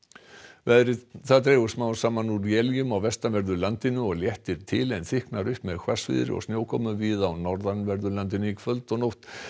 veðri það dregur smám saman úr éljum á vestanverðu landinu og léttir til en þykknar upp með hvassviðri og snjókomu víða á norðanverðu landinu í kvöld og nótt